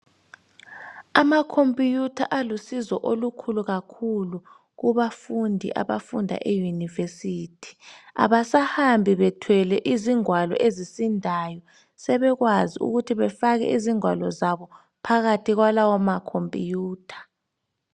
Amakhompuyutha alusizo olukhulu kakhulu kubafundi abafunda eyunivesithi. Abasahambi bethwele izingwalo ezisindayo, sebekwazi ukuthi befake izingwalo zabo phakathi kwalawo makhompuyutha.